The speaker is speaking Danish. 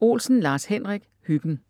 Olsen, Lars-Henrik: Hyggen